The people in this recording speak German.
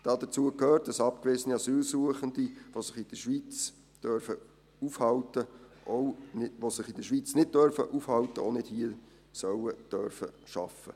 Dazu gehört, dass abgewiesene Asylsuchende, die sich in der Schweiz nicht aufhalten dürfen, auch nicht hier arbeiten dürfen sollen.